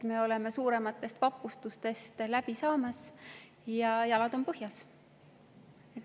Me oleme suurematest vapustustest läbi ja jalad on põhjas.